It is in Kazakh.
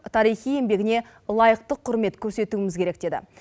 тарихи еңбегіне лайықты құрмет көрсетуіміз керек деді